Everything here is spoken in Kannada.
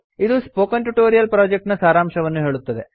ಇದು ಸ್ಪೋಕನ್ ಟ್ಯುಟೋರಿಯಲ್ ಪ್ರೊಜೆಕ್ಟ್ ನ ಸಾರಾಂಶವನ್ನು ಹೇಳುತ್ತದೆ